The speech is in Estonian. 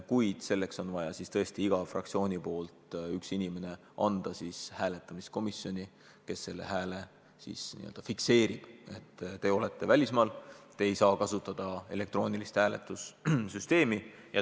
Kuid selleks on vaja siis igal fraktsioonil anda üks inimene hääletamiskomisjoni, kes selle hääle siis fikseerib, kui te olete välismaal ja ei saa kasutada elektroonilist hääletussüsteemi.